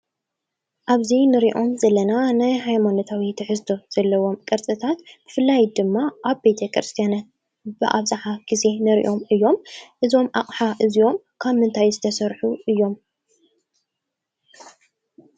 ኣብዚ እንሪኦ ዘለና ናይ ሃይሞኖታዊ ትሕዝቶ ዘለዎም ቅርፅታት ብፍላይ ድማ ኣብ ቤተክርስትያት ብኣብዛሓ ግዜ ንሪኦም እዮም ። እዞም ኣቕሓ እዚኦም ካብ ምንታይ ዝተሰርሑ እዮም?